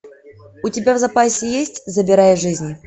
у тебя в запасе есть забирая жизни